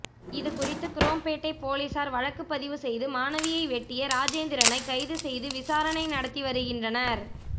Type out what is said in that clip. இதுகுறித்து குரோம்பேட்டை போலீசார் வழக்குப்பதிவு செய்து மனைவியை வெட்டிய ராஜேந்திரனை கைது செய்து விசாரணை நடத்தி வருகின்றனர்